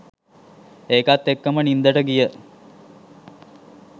ඒකත් එක්කම නින්දට ගිය